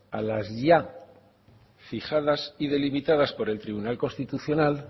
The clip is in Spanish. a las ya fijadas y delimitadas por el tribunal constitucional